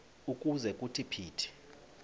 ukuze kuthi phithi